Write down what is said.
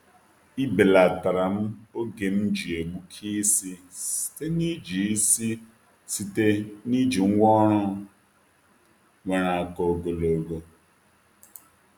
E belatara'm oge m ji egbuke isi site n’iji isi site n’iji ngwá ọrụ nwere aka ogologo.